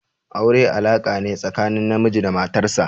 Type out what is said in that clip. Aure alaka ne tsakanin namiji da matar sa.